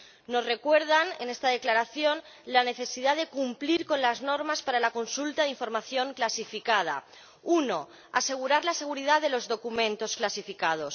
Nos recuerdan en esta declaración la necesidad de cumplir con las normas para la consulta de información clasificada uno, asegurar la seguridad de los documentos clasificados